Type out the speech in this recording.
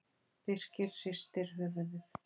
Birkir hristi höfuðið.